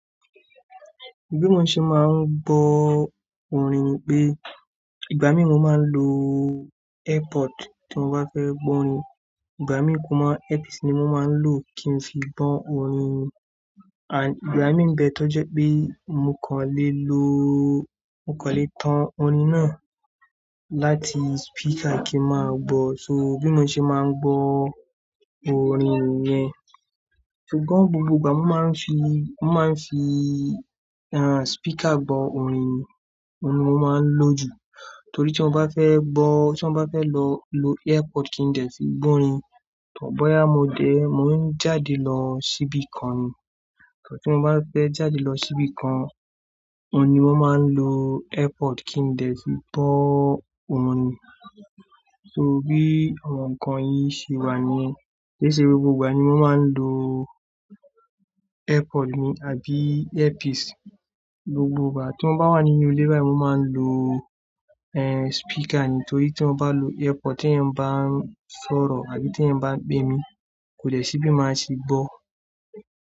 Bí mo ṣe máa ń gbọ́ orin ni pé, ìgbà mí mo máa ń lo airpod tí mo bá fẹ́ gbọ́ orin, ìgbà mí mo ma-- earpiece ni mo máa ń lò kí n sì gbọ́ orin. À- ìgbà mí ń bẹ tó jẹ pé mo kàn lè lo, mo kàn lè tan orin náà láti speaker kí máa gbọ́. So bí mo ṣe máa ń gbọ́ orin yẹn. Ṣùgbọ́n, gbogbo ìgbà mó máa ń fi, mó máa ń fi, ehn, speaker gbọ orin, ohun ni mo máa ń lò jù. Torí tí mo bá fẹ́ gbọ́-- tí mo bá fẹ́ lọ lo earpod kí ń dẹ̀ fi gbọ́ orin, tọ boyá mo dẹ̀, mò ń jáde lọ síbí kan ni. Tí mo bá fẹ́ jáde lọ síbí kan, ohun ni mó máa ń lo earpod kí ń dẹ̀ fi gbọ́ orin. So bí àwọn ǹkan yí ṣe wà níyẹn, kì í ṣe gbogbo ìgbà ni mo máa ń lo earpod mi àbí earpiece gbogbo ìgbà tí mo bá wà nínú ilé báyì mo máa ń lo ehn, speaker ni, torí tí mo bá lo earpod tí èèyàn bá sọ̀rọ̀ tàbí tí èèyàn bá pè mí, kò dé sí bí máa ṣe gbọ́.